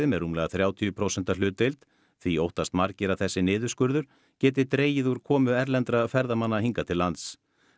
með rúmlega þrjátíu prósenta hlutdeild því óttast margir að þessi niðurskurður geti dregið úr komu erlendra ferðamanna hingað til lands